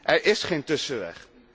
Er is geen tussenweg.